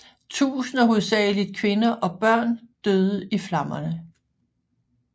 Tusinder hovedsageligt kvinder og børn døde i flammerne